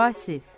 Vasif.